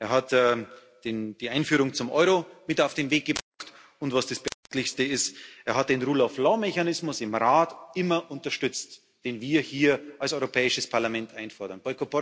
Er hat die Einführung zum Euro mit auf den Weg gebracht, und was das Thema heute ist, er hat den Rule of Law Mechanismus im Rat immer unterstützt, den wir hier als Europäisches Parlament einfordern.